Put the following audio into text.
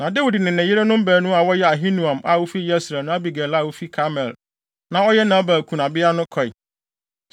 Na Dawid de ne yerenom baanu a wɔyɛ Ahinoam a ofi Yesreel ne Abigail a ofi Karmel a na ɔyɛ Nabal kunabea no kɔe.